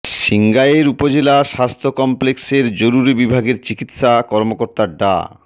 সিংগাইর উপজেলা স্বাস্থ্য কমপ্লেক্সের জরুরি বিভাগের চিকিৎসা কর্মকর্তা ডা